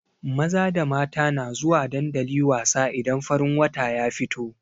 Maza da mata na zuwa dandali wasa idan farin wata ya fito.